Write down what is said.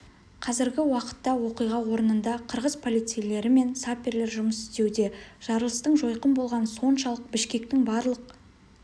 қазіргі уақытта оқиға орнында қырғыз полицейлері мен саперлер жұмыс істеуде жарылыстың жойқын болғаны соншалық бішкектің барлық